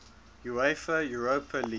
uefa europa league